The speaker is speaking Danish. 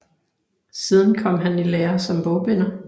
Siden kom han i lære som bogbinder